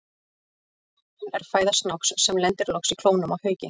Fuglinn er fæða snáks, sem lendir loks í klónum á hauki.